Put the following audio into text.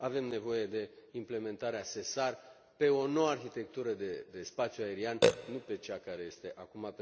Avem nevoie de implementarea SESAR pe o nouă arhitectură de spațiu aerian, nu pe cea care este acum.